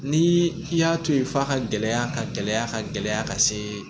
Ni i y'a to yen f'a ka gɛlɛya ka gɛlɛya ka gɛlɛya ka se